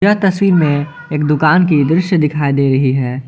तस्वीर में एक दुकान कि दृश्य दिखाई दे रही है।